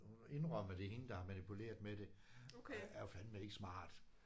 Hun har indrømmet det er hende der har manipuleret med det og det er fandeme ikke smart